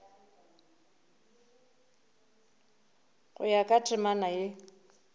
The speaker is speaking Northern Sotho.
go ya ka temana ye